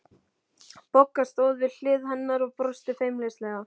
Bogga stóð við hlið hennar og brosti feimnislega.